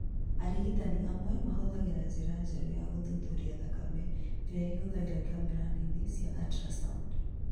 Arigitani amwe mahũthagĩra njĩra njerũ ya gũthuthuria thakame, ĩrĩa ĩhũthagĩra kamera nini cia ultrasound.